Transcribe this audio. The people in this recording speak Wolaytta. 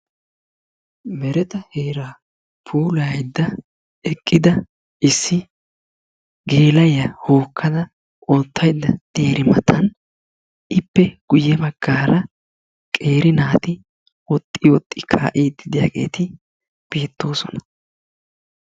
Meretta heera puulaydda eqqidi issi gela'iya duge hokkada oottaydda diyaara ippe guyye baggan qeeri naati woxxi woxxi kaa'idi beettoosona.